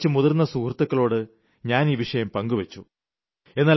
എന്റെ കുറച്ചു മുതിർന്ന സുഹൃത്തുക്കളോട് ഞാൻ ഈ വിഷയം പങ്കുവെച്ചു